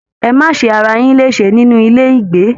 Ẹ ma se ará yin lésè nínú ilé ìgbé!